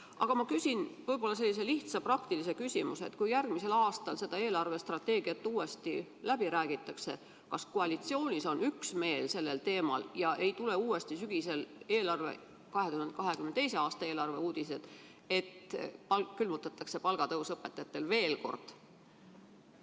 Aga ma küsin sellise lihtsa praktilise küsimuse: kui järgmisel aastal seda eelarvestrateegiat uuesti läbi räägitakse, siis kas koalitsioonis on sel teemal üksmeel ja sügisel ei tule 2022. aasta eelarve kohta uuesti uudised, et õpetajate palk külmutatakse veel kord?